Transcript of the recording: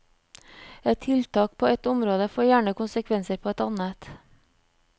Et tiltak på ett område får gjerne konsekvenser på et annet.